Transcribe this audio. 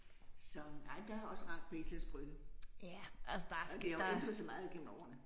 Så nej men der er også rart på Islands Brygge. Og det har jo ændret sig meget gennem årene